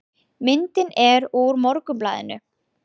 Myndin er úr Morgunblaðinu